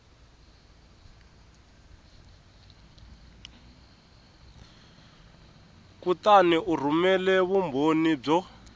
kutani u rhumela vumbhoni byo